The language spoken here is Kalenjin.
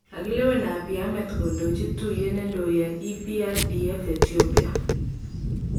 Kakilewen Abiy Ahmed kondochi katuyet nendoi en EPRDF Ethiopia.